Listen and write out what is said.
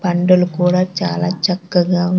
పండులు కూడా చాలా చక్కగా ఉం--